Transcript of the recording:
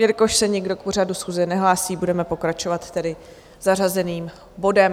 Jelikož se nikdo k pořadu schůze nehlásí, budeme pokračovat tedy zařazeným bodem